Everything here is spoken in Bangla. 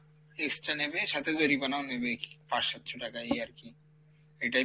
extra নেবে সাথে জরিমানাও নেবে কী পাঁচ সাতশো টাকা এই আরকি এইটাই,